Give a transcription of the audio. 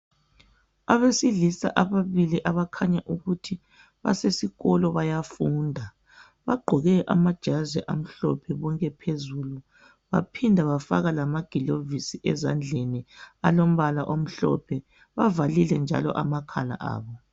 Abesilisa ababili abakhanya ukuthi basesikolo bayafunda bagqoke amajazi amhlophe phezulu baphinda bafaka lamagilovisi ezandleni alombala omhlophe bavalile njalo amakhala abo